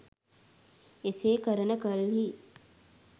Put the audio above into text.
එසේ කරන කල්හි